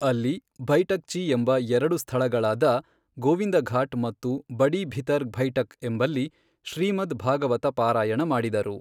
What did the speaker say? ಅಲ್ಲಿ ಬೈಠಕ್ಜಿ ಎಂಬ ಎರಡು ಸ್ಥಳಗಳಾದ ಗೋವಿಂದಘಾಟ್ ಮತ್ತು ಬಡಿ ಭಿತರ್ ಬೈಠಕ್ ಎಂಬಲ್ಲಿ ಶ್ರೀಮದ್ ಭಾಗವತ ಪಾರಾಯಣ ಮಾಡಿದರು.